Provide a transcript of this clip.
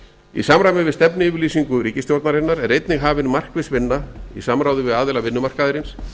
í samræmi við stefnuyfirlýsingu ríkisstjórnarinnar er einnig hafin markviss vinna í samráði við aðila vinnumarkaðarins